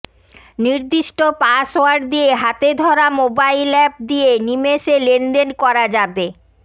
নির্দিষ্ট পাসওয়ার্ড দিয়ে হাতে ধরা মোবাইল অ্যাপ দিয়ে নিমেষে লেনদেন করা যাবে